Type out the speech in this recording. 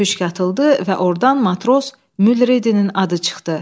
Püşk atıldı və ordan matros Mülredinin adı çıxdı.